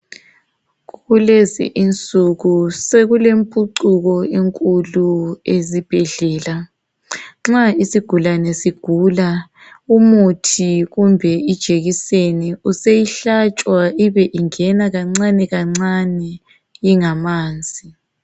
Kulezinsuku sokulempucuko enkulu ezibhedlela nxa isigulane sigula umuthi kumbe ijekiseni useyihlatshwa ibe ingena kancane kancane ingamanzi.